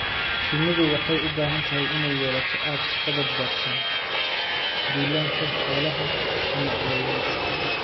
Shinnidu waxay u baahan tahay inay yeelato aag ka badbaadsan duulaanka xoolaha ama cayayaanka.